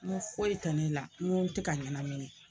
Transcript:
Ŋo foyi tɛ ne la, ŋo n te ka ɲɛnamini